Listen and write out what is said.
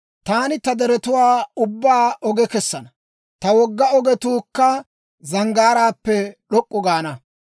«Taani ta deretuwaa ubbaa oge kessana; ta wogga ogetuukka zanggaaraappe d'ok'k'u gaana.